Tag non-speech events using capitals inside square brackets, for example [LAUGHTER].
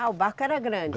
Ah, o barco era grande? [UNINTELLIGIBLE]